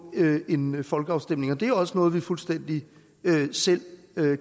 en en folkeafstemning og det er jo også noget man fuldstændig selv